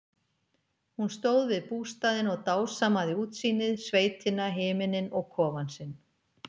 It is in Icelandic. Hún stóð við bústaðinn og dásamaði útsýnið, sveitina, himininn og kofann sinn.